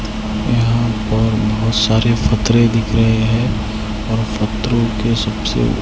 यहां पर बहोत सारे पत्थरे दिख रहे है और पथरो के सबसे--